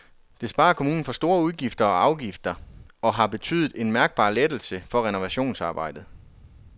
Det sparer kommunen for store udgifter og afgifter og har betydet en mærkbar lettelse for renovationsarbejderne.